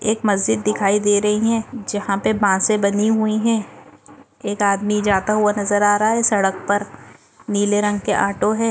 मजीद दिखाई दे रही है जहा पे बांसे बनी हुई है एक आदमी जाता हुआ नजर आ रहा सड़क पर नीले रंग के ऑटो है।